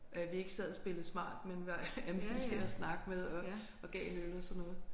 At vi ikke sad og spillede smart men var almindelige at snakke med og og gav en øl og sådan noget